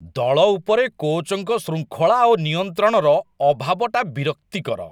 ଦଳ ଉପରେ କୋଚ୍‌‌ଙ୍କ ଶୃଙ୍ଖଳା ଓ ନିୟନ୍ତ୍ରଣର ଅଭାବଟା ବିରକ୍ତିକର।